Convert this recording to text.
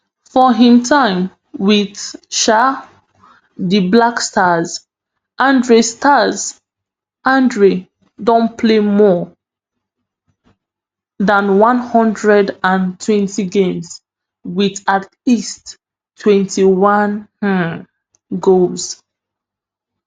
for im time wit um di black stars andre stars andre don play more dan one hundred and twenty games wit at least twenty-one um goals